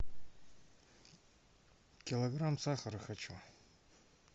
килограмм сахара хочу